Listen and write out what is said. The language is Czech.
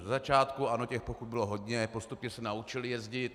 Ze začátku ano, těch pokut bylo hodně, postupně se naučili jezdit.